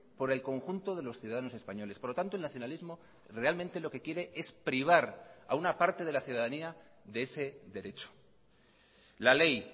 por el conjunto de los ciudadanos españoles por lo tanto el nacionalismo realmente lo que quiere es privar a una parte de la ciudadanía de ese derecho la ley